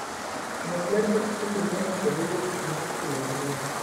Ng'wech mar pikipiki miyo ng'ato bedo gi chuny mar timo gimoro.